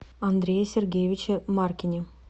андрее сергеевиче маркине